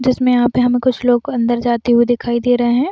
जिसमे यहाँ पे हमे कुछ लोग अंदर जाते हुए दिखाई दे रहे है।